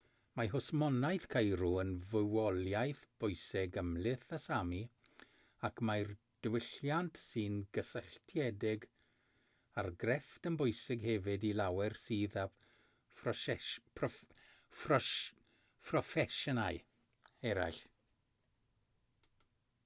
mae hwsmonaeth ceirw yn fywoliaeth bwysig ymhlith y sámi ac mae'r diwylliant sy'n gysylltiedig â'r grefft yn bwysig hefyd i lawer sydd â phroffesiynau eraill